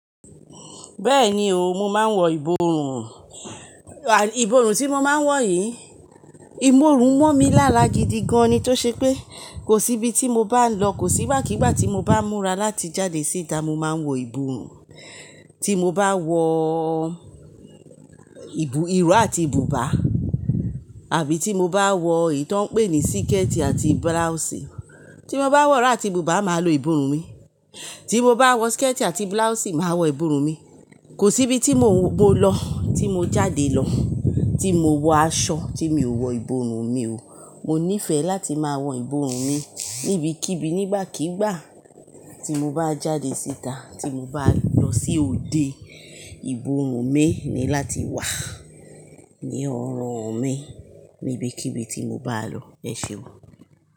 Bẹ́ẹ̀ni o, mo máa ń wọ ìborùn. Ìborùn tí mo máa ń wọ yìí, ìbọ̀run món mi lára gidi gan ni tó ṣe pé kò sí ibi tí mo bá ń lọ, kò sí ígbàkigbà tí mo bá ń múra láti jáde síta mo máa ń wọ ìborùn. Tí mo bá wọ ìró àti bùbá àbí tí mo bá wọ ìtọ́ ń pè ní síkẹ́tì àti buláùsì. Tí mo bá wọ rọ́ àti bùbá, màá lo ìborùn mi, tí mo bá wọ síkẹ́tì àti buláùsì, màá wọ ìborùn mi. Kò sí ibi tí mo lọ, tí mo jáde lọ, tí mo wọ aṣọ tí mi ò wọ ìborùn mi o. Mo nífẹ̀ẹ́ láti máa wọ ìborùn mi níbikíbi nígbàkigbà tí mo bá jáde síta, tí mo bá lọ sí òde. Ìborùn mi ni láti wà ní ọrùn mi níbikíbi tí mo bá lọ. Ẹ ṣé o.